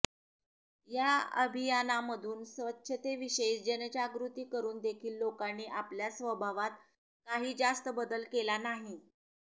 या अभियानामधून स्वच्छतेविषयी जनजागृती करून देखील लोकांनी आपल्या स्वभावात काही जास्त बदल केला नाही